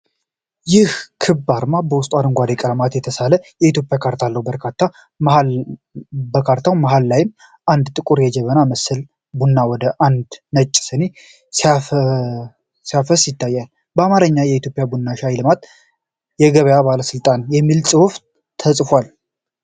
ይህ ክብ አርማ በውስጡ በአረንጓዴ ቀለም የተሳለ የኢትዮጵያ ካርታ አለው። በካርታው መሃል ላይ አንድ ጥቁር የጀበና ምስል ቡና ወደ አንድ ነጭ ስኒ ሲያፈስ ይታያል። በአማርኛ "የኢትዮጵያ ቡናና ሻይ ልማትና ገበያ ባለስልጣን" የሚል ጽሑፍ ተፅፏል።